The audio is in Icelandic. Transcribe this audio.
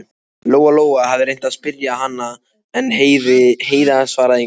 Lóa Lóa hafði reynt að spyrja hana, en Heiða svaraði engu.